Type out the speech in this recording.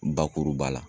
Bakuruba la